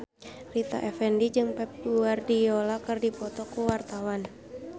Rita Effendy jeung Pep Guardiola keur dipoto ku wartawan